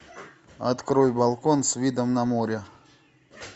открой балкон с видом на море